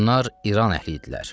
Bunlar İran əhli idilər.